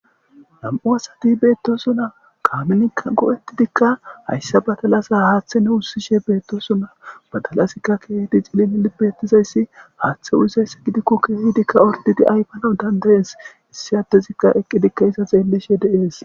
Nam7u asati beettosuna kaamenikkan go7etidikka hayssa batalasa haaththene wussishe beettosuna batalasikka keehdi cilin libettizayssi haaththe uuzayssa gidikko keehidikka ordidi aypanan dandayees issi attezikka eqqidikka iza xeellishe deees